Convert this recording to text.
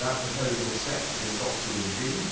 That proposal is set to be adopted in June